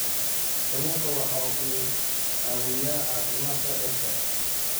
Kalluunku waxa uu caawiyaa caafimaadka dadka